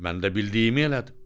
Mən də bildiyimi elədim.